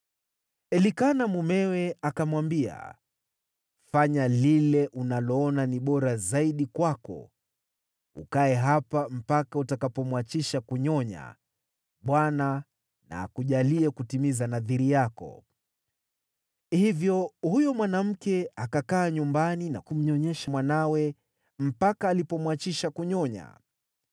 Elikana mumewe akamwambia, “Fanya lile unaloona ni bora zaidi kwako. Ukae hapa mpaka utakapomwachisha kunyonya, Bwana na akujalie kutimiza nadhiri yako.” Hivyo huyo mwanamke akakaa nyumbani na kumnyonyesha mwanawe mpaka alipomwachisha kunyonya.